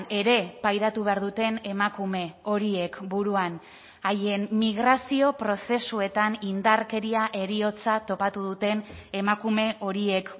ere pairatu behar duten emakume horiek buruan haien migrazio prozesuetan indarkeria heriotza topatu duten emakume horiek